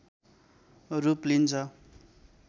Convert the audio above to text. रूप लिन्छ